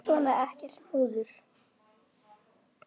Svona, ekkert múður.